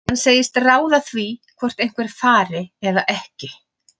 Hann segist ráða því hvort einhver fari eða ekki.